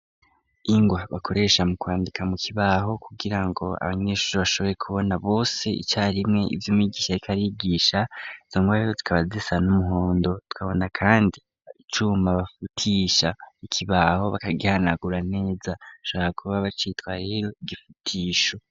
Ingwa bakoresha mu kwandika mu kibaho kugira ngo abanyenshuri bashoboye kubona bose ica rimwe ivyoumigisha rikarigisha zangoabeyo tkabazisana umuhondo tukabona, kandi icuma bafutisha ikibaho bakagihanagura neza saka kuba bacitwa rero igifutisho.